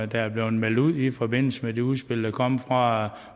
der er blevet meldt ud i forbindelse med det udspil der kom fra